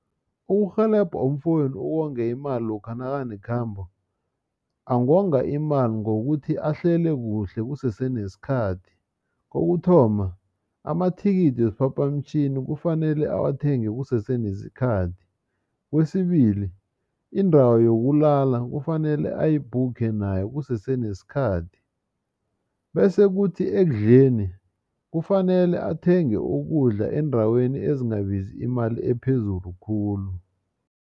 Ukurhelebha umfowenu onge imali lokha nakanekhambo angonga imali ngokuthi ahlele kuhle kusese nesikhathi. Kokuthoma amathikithi wesiphaphamtjhini kufanele awathenge kusese nesikhathi. Kwesibili indawo yokulala kufanele ayi-book nayo kusese nesikhathi bese kuthi ekudleni kufanele athenge ukudla eendaweni ezingabizi imali ephezulu khulu.